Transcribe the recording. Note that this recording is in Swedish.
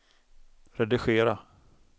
redigera